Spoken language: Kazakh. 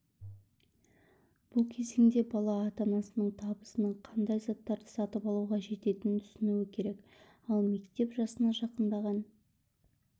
бұл кезеңде бала ата-анасының табысының қандай заттарды сатып алуға жететінін түсінуі керек ал мектеп жасына жақындаған